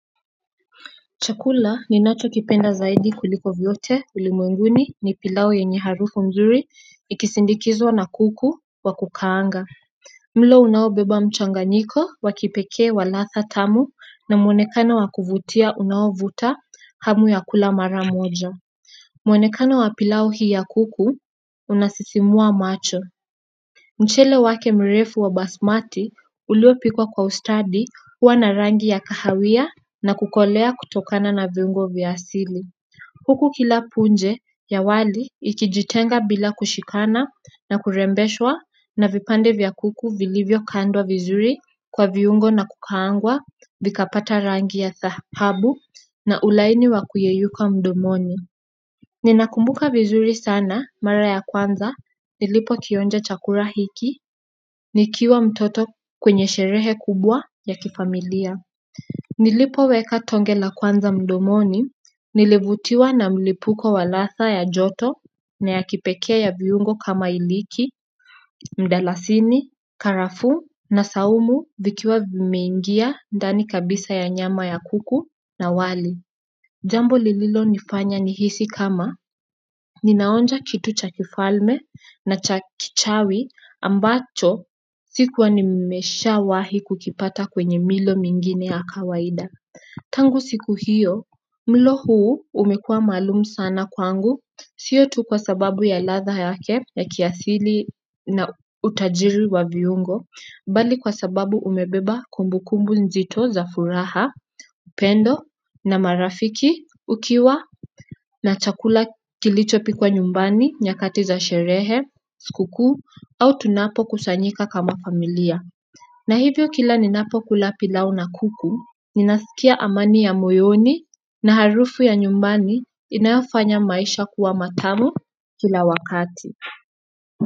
Chakula ninachokipenda zaidi kuliko vyote ulimwenguni ni pilau yenye harufu mzuri ikisindikizwa na kuku wa kukaanga mlo unaobeba mchanganyiko wa kipekee wa ladha tamu na mwonekano wa kuvutia unaovuta hamu ya kula mara moja mwonekano wa pilau hii ya kuku unasisimua macho mchele wake mrefu wa basmati uliopikwa kwa ustadi huwa na rangi ya kahawia na kukolea kutokana na viungo vya asili. Huku kila punje ya wali ikijitenga bila kushikana na kurembeshwa na vipande vya kuku vilivyokandwa vizuri kwa viungo na kukaangwa vikapata rangi ya dhahabu na ulaini wa kuyeyuka mdomoni. Ninakumbuka vizuri sana mara ya kwanza nilipokionja chakula hiki nikiwa mtoto kwenye sherehe kubwa ya kifamilia. Nilipoweka tonge la kwanza mdomoni nilivutiwa na mlipuko wa ladha ya joto na ya kipekee ya viungo kama hiliki, mdalasini, karafuu na saumu vikiwa vimeingia ndani kabisa ya nyama ya kuku na wali jambo lililonifanya nihisi kama ninaonja kitu cha kifalme na cha kichawi ambacho sikuwa nimeshawahi kukipata kwenye milo mingine ya kawaida. Tangu siku hiyo, mlo huu umekuwa maalum sana kwangu sio tu kwa sababu ya ladha yake ya kiasili na utajiri wa viungo bali kwa sababu umebeba kumbukumbu nzito za furaha, upendo na marafiki ukiwa na chakula kilichopikwa nyumbani nyakati za sherehe, sikukuu au tunapokusanyika kama familia na hivyo kila ninapokula pilau na kuku, ninasikia amani ya moyoni na harufu ya nyumbani inayofanya maisha kuwa matamu kila wakati.